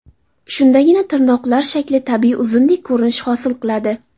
Shundagina tirnoqlar shakli tabiiy uzundek ko‘rinish hosil qiladi.